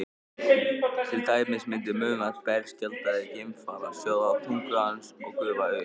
til dæmis myndi munnvatn berskjaldaðs geimfara sjóða á tungu hans og gufa upp